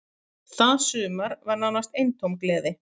Það sumar var nánast eintóm gleði.